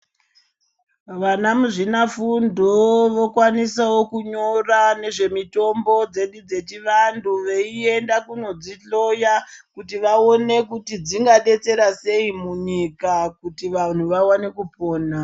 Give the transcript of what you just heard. Vana muzvinafundo vokwanisawo kunyora nezvemitombo dzedu dzechivantu veienda kunodzihloya kuti vaone kuti dzingadetsera sei munyika kuti vantu vawane kupona.